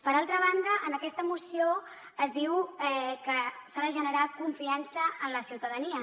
per altra banda en aquesta moció es diu que s’ha de generar confiança en la ciutadania